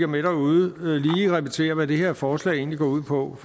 med derude lige repetere hvad det her forslag egentlig går ud på